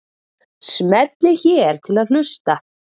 Smellið hér til að hlusta.